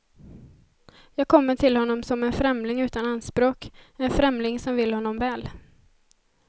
Jag kommer till honom som en främling utan anspråk, en främling som vill honom väl.